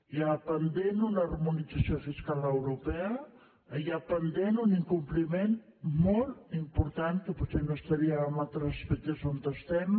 hi ha pendent una harmonització fiscal europea hi ha pendent un incompliment molt important que potser no estaríem en altres aspectes on estem